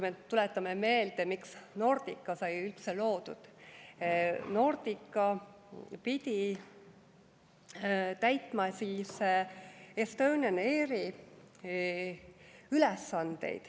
Tuletame meelde, miks Nordica sai üldse loodud: Nordica pidi täitma Estonian Airi ülesandeid.